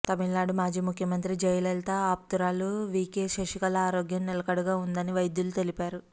తమిళనాడు మాజీ ముఖ్యమంత్రి జయలలిత ఆప్తురాలు వీకే శశికళ ఆరోగ్యం నిలకడగా ఉందని వైద్యులు తెలిపారు